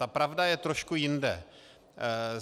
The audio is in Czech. Ta pravda je trošku jinde.